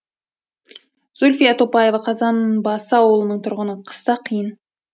зүлфия топаева қазанбасы аулының тұрғыны қыста қиын